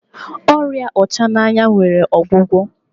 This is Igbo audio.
ọrịa ọchananya nwere ogwugwo